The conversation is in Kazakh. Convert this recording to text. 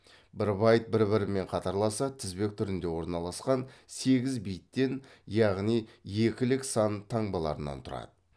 бір байт бір бірімен қатарласа тізбек түрінде орналасқан сегіз биттен яғни екілік сан таңбаларынан тұрады